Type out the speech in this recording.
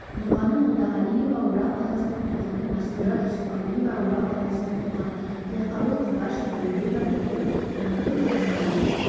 нұрғаным молдағалиева орал қаласының тұрғыны мәстура жүсіпқалиева орал қаласының тұрғыны тілекқабыл құбашев еңбек ардагері жаңабек жақсығалиев